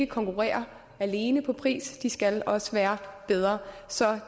konkurrere alene på pris de skal også være bedre så